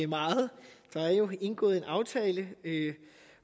meget der er jo indgået en aftale